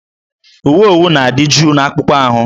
Uwe owu na-adị jụụ n'akpụkpọ ahụ